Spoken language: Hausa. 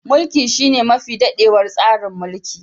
Mulki shine mafi dadewa tsarin mulki.